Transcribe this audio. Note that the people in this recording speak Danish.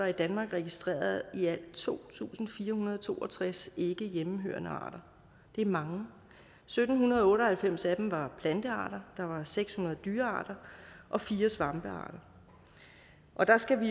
i danmark er registreret i alt to tusind fire hundrede og to og tres ikke hjemmehørende arter det er mange sytten otte og halvfems af dem var plantearter der var seks hundrede dyrearter og fire svampearter der skal